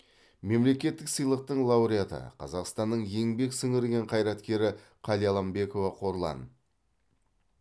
мемлекеттік сыйлықтың лауреаты қазақстанның еңбек сіңірген қайраткері қалиаламбекова қорлан